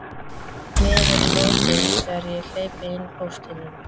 Miður morgunn þegar ég hleypi inn póstinum.